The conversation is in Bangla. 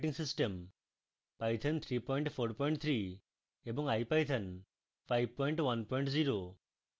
python 343 এবং ipython 510